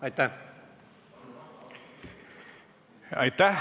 Aitäh!